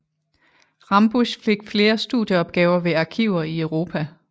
Rambusch fik flere studieopgaver ved arkiver i Europa